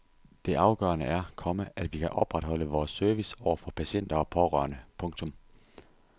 Det afgørende er, komma at vi kan opretholde vores service over for patienter og pårørende. punktum